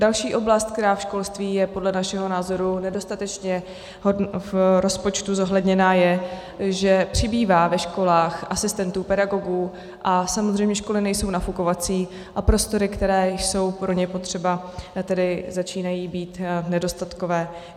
Další oblast, která ve školství je podle našeho názoru nedostatečně v rozpočtu zohledněna, je, že přibývá ve školách asistentů pedagogů a samozřejmě školy nejsou nafukovací a prostory, které jsou pro ně potřeba, tedy začínají být nedostatkové.